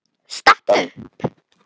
Stattu upp!